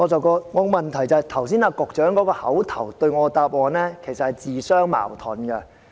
局長剛才對我作出的口頭答覆，其實是自相矛盾的。